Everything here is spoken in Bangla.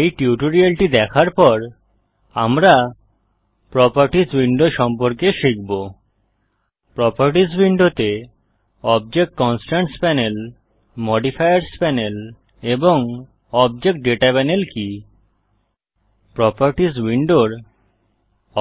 এই টিউটোরিয়ালটি দেখার পর আমরা প্রোপার্টিস উইন্ডো সম্পর্কে শিখব প্রোপার্টিস উইন্ডোতে object constraints panel modifiers panel এবং অবজেক্ট দাতা পানেল কি প্রোপার্টিস উইন্ডোর